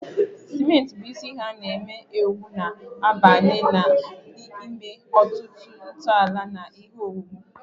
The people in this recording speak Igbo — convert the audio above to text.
Simenti, bụ́ isi ihe a na-ewu, na-abanye na ime ọtụtụ ntọala na ihe owuwu